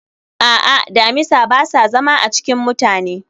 a'a, damisa ba sa zama a cikin mutane